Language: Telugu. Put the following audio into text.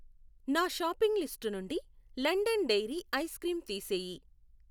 నా షాపింగ్ లిస్టు నుండి లండన్ డెయిరీ ఐస్ క్రీం తీసేయి.